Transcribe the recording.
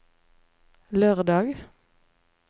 lørdag